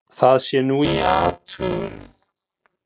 Það sé nú í athugun.